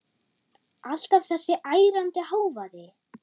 Alltaf þessi ærandi hávaði.